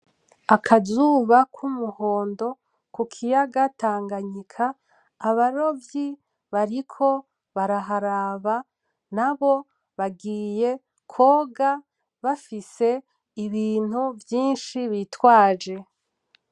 Akazuba k'umuhondo ku kiyaga Tanganyika, abarovyi bariko baraharaba nabo bagiye kwoga bafise ibintu vyinshi bitwaje.